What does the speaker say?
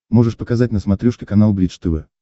можешь показать на смотрешке канал бридж тв